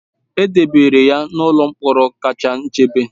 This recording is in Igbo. E debere ha n'ụlọ mkpọrọ kacha nchebe